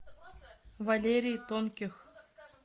валерий тонких